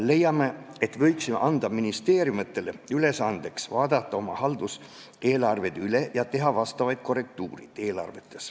Leiame, et võiksime ministeeriumitele anda ülesande vaadata üle oma halduseelarved ja teha seal vastavad korrektiivid.